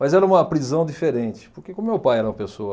Mas era uma prisão diferente, porque como meu pai era uma pessoa...